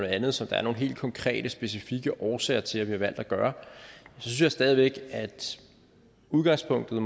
andet som der er nogle helt konkrete specifikke årsager til vi har valgt at gøre synes jeg stadig væk at udgangspunktet